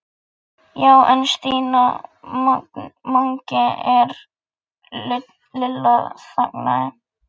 Já en Stína, Mangi er. Lilla þagnaði.